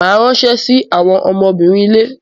Màá ránṣẹ́ sí àwọn ọmọbìnrin ilé.